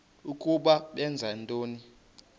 ukuba benza ntoni